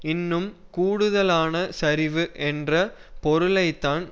இன்னும் கூடுதலான சரிவு என்ற பொருளைத்தான்